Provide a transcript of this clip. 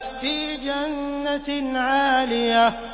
فِي جَنَّةٍ عَالِيَةٍ